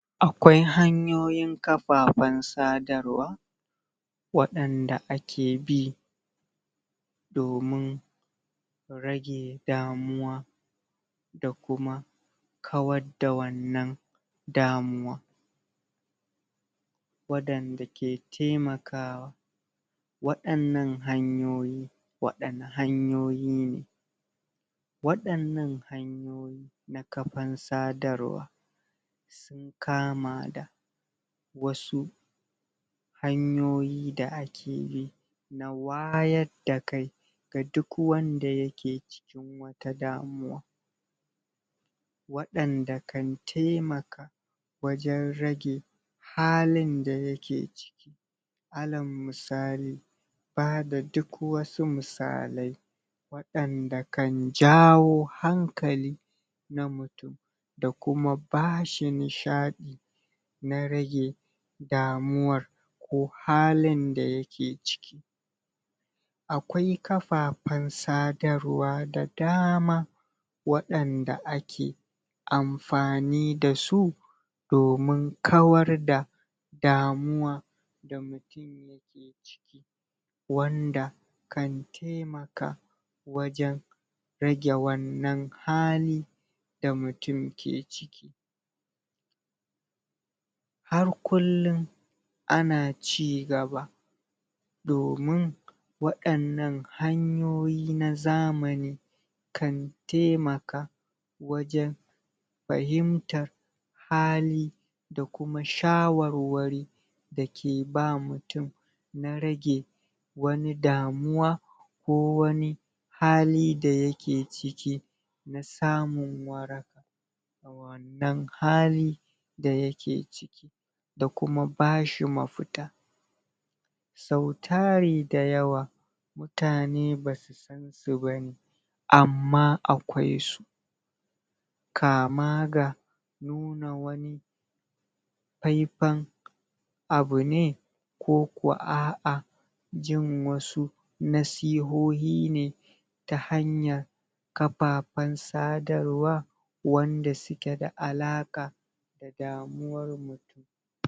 Akwai hanyoyin kafafan sadarwa, Wadanda akebi Domun Rage damuwa Da kuma Kawadda wannan Damuwa Wadanda ke taimakawa Wadanan hanyoyi Waɗanne hanyoyi ne, Waɗannan hanyoyi Na kafar sadarwa Sun kama da, Wasu Hanyoyi da ake yi Na wayad da kai, Ga duk wanda yake cikin Wata damuwa Waɗanda kan taimaka Wajen rage Halin da yake ciki Ala musali Bada duk wasu musalai Waɗanda kan jawo hankali Na mutum Da kuma bashi nishaɗi Na rage Damuwar Ko halin da yake ciki Akwai kafafan sadarwa da dama Waɗanda ake, Amfani dasu! Domin kawar da Damuwa da mutum yake ciki Wanda Kan taimaka Wajen Rage wannan hali Da mutum ke ciki Har kullum Ana cigaba Domun, Waɗannan hanyoyi na zamani Kan taimaka Wajen Fahimtar Hali Da kuma shawarwari Dake ba mutum Na rage Wani damuwa Ko wani, Hali dayake ciki Na samun waraka Na wannan hali Da yake ciki Da kuma bashi mafita Sau dari da yawa Mutane basu san Su bane Amma akwai su Kama ga, Nuna wani Faifai'n Abu ne Ko kwa aa Jin wasu Nasihohi ne Ta hanya Kapapan sadarwa Wanda suke da alaƙa Da damuwar mutum